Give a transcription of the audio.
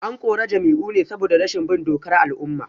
An kore Jamiu ne saboda rashin bin dokar al’umma